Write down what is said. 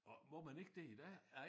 Åh må man ikke det i dag?